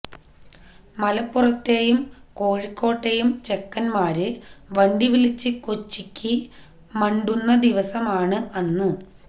മലപ്പുറത്തെയും കോഴിക്കോട്ടെയും ചെക്കന്മാര് വണ്ടി വിളിച്ച് കൊച്ചിക്ക് മണ്ടുന്ന ദിവസമാണ് അന്ന്